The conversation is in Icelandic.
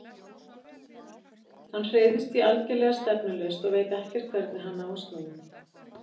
Hann hreyfist því algerlega stefnulaust og veit ekkert hvernig hann á að snúa.